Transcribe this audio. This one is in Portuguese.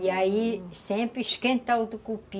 E aí sempre esquenta o tucupi